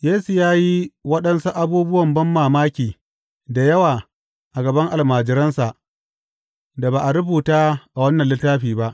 Yesu ya yi waɗansu abubuwan banmamaki da yawa a gaban almajiransa da ba a rubuta a wannan littafi ba.